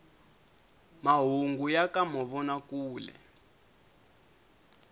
mahungu ya ka mavona kule